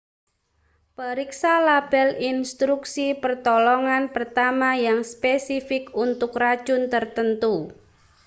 periksa label instruksi pertolongan pertama yang spesifik untuk racun tertentu